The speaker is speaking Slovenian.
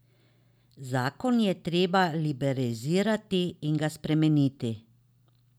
Zakon je treba liberalizirati in ga spremeniti.